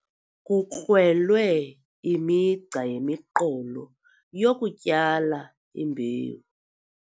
Kukrwelwe imigca yemiqolo yokutyala imbewu.